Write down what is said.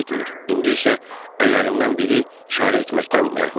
İndi isə əllərindən biri işarə etməkdən məhrumdur.